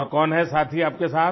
और कौन है साथी आपके साथ